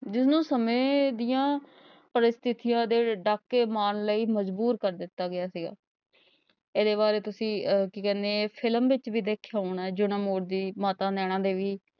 ਜਿਨੂੰ ਸਮੇਂ ਦੀਆਂ ਪ੍ਰੱਸਥੀਆਂ ਦੇ ਡਾਕੇ ਮਾਰਨ ਲਈ ਮਜਬੂਰ ਕਰ ਦਿਤਾ ਗਿਆ ਸੀਗਾ ਇਹ ਦੇ ਬਾਰੇ ਤੁਸੀ ਅਹ ਕਿ ਕਹਿੰਦੇ ਹੈ ਇਹ film ਵਿੱਚ ਭੀ ਵੇਖਿਆ ਹੋਣਾ ਹੈ ਜਯੋ ਮੋੜ ਦੀ ਮਾਤਾ ਨੈਨਾ ਦੇਵੀ